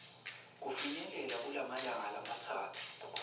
kufinyelela kumalanga lamatsatfu